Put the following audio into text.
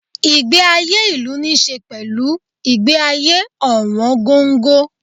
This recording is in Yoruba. Ìgbé ayé ìlú níí ṣe pẹ̀lú ìgbé ayé ọ̀wọ̀n gógó.